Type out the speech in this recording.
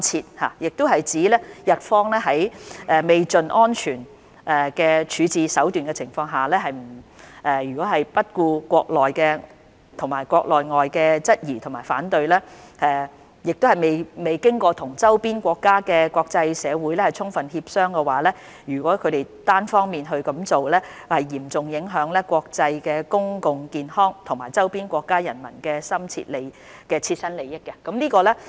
中國外交部亦指出，日方在未窮盡安全處置手段的情況下，不顧國內外質疑和反對，未經與周邊國家和國際社會充分協商而單方面這樣做，將嚴重影響國際公共健康安全和周邊國家人民的切身利益。